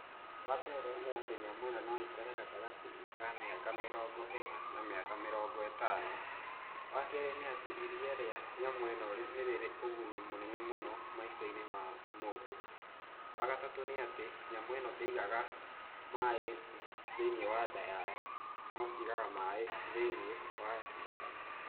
Wa mbere nĩ atĩ nyamũ ĩno no ĩikare gatagatĩ-inĩ ka mĩaka mĩrongo ĩna na mĩaka mĩrongo ĩtano. Wa kerĩ nĩ atĩ iria rĩa nyamũ ĩno nĩ rĩrĩ ũguni mũnene muno maica-inĩ ma mũndũ. Wa gatatũ nĩ atĩ nyamũ ĩno ndĩigaga maĩ thĩiniĩ wa nda yayo no ciigaga maĩ thĩiniĩ wa thakame.